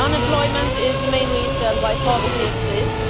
Unemployment is the main reason why poverty exists.